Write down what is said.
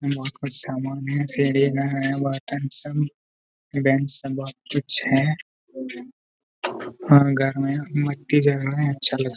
यहां बहुत कुछ सामान है सीधी है बर्तन सब बैंच सब बहुत कुछ है घर में रहे है अच्छा लग रहा हैं।